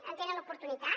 en tenen l’oportunitat